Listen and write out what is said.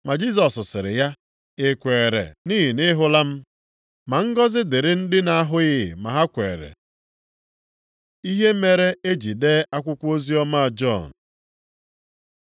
Ma Jisọs sịrị ya, “I kweere nʼihi na ị hụla m? Ma ngọzị dịrị ndị na-ahụghị ma kwere.” Ihe mere e ji dee akwụkwọ oziọma Jọn